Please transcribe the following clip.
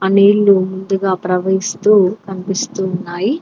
నీళ్లు ముందుగా ప్రవహిస్తూ కనిపిస్తు ఉన్నాయి.